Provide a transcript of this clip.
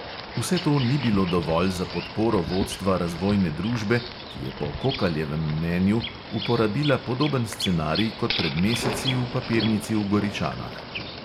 Vse to ni bilo dovolj za podporo vodstva razvojne družbe, ki je po kokaljevem mnenju uporabila podoben scenarij kot pred meseci v papirnici v goričanah.